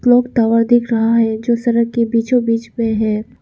Clock tower दिख रहा है जो सड़क के बीचों बीच में है।